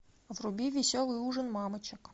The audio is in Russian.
вруби веселый ужин мамочек